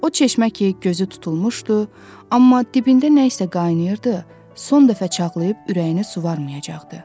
O çeşmə ki gözü tutulmuşdu, amma dibində nə isə qaynayırdı, son dəfə çağlayıb ürəyini suvarmayacaqdı.